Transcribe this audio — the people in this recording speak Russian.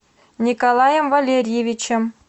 николаем валерьевичем